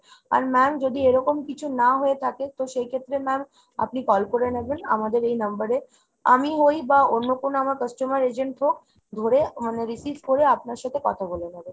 আর ma'am যদি এরকম কিছু না হয়ে থাকে তো সেইক্ষেত্রে ma'am আপনি call করে নেবেন আমাদের এই number এ। আমি হই বা অন্য কোনো আমার customer agent হোক ধরে মানে receive করে আপনার সাথে কথা বলে নেবে।